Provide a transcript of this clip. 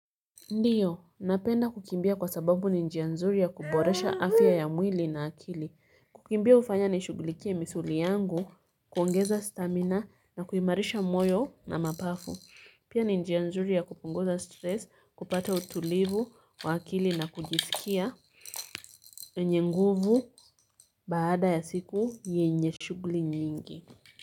Ndiyo, napenda kukimbia kwa sababu ni njia nzuri ya kuboresha afya ya mwili na akili. Kukimbia hufanya nishughulikie misuli yangu, kuongeza stamina na kuimarisha moyo na mapafu. Pia ni njia nzuri ya kupunguza stress, kupata utulivu wa akili na kujisikia mwenye nguvu baada ya siku yenye shughuli nyingi.